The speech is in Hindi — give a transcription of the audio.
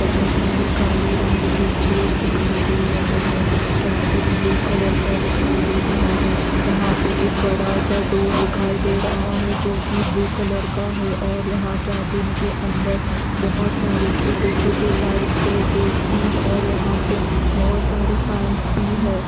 बहुत सारे काले रंग के चेयर्स दिखाई दे रहे हैं केबिन ब्लू कलर का दिखाई दे रहा है यहां पे एक बड़ा सा डोर दिखाई दे रहा है जो की ब्लू कलर का है और यहां केबिन के अंदर बहुत सारे छोटे छोटे लाइट्स हैं ए_सी और यहां पे बहुत सारे फैंस भी है।